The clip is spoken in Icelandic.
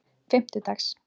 fimmtudags